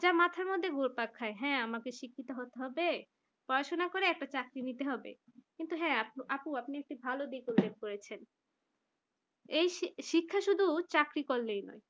যে মাথার মধ্যে ঘুরপাক খায় হ্যাঁ, আমাকে শিক্ষিত হতে হবে পড়াশোনা করে একটা চাকরি নিতে হবে কিন্তু হ্যাঁ আপু আপনি একটু ভালো দিক উল্লেখ করেছেন এই শিক্ষা শুধু চাকরি করলেই নয়